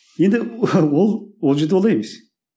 енді ол ол жерде олай емес